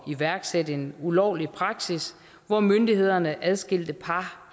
iværksætte en ulovlig praksis hvor myndighederne adskilte par